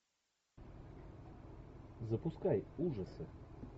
запускай ужасы